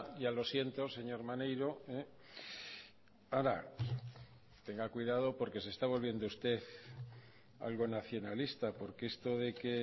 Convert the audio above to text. ya lo siento señor maneiro ahora tenga cuidado porque se está volviendo usted algo nacionalista porque esto de que